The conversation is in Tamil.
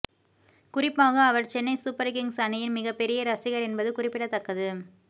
குறிப்பாக அவர் சென்னை சூப்பர் கிங்ஸ் அணியின் மிகப்பெரிய ரசிகர் என்பது குறிப்பிடத்தக்கது